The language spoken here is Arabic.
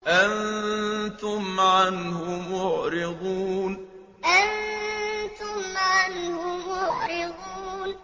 أَنتُمْ عَنْهُ مُعْرِضُونَ أَنتُمْ عَنْهُ مُعْرِضُونَ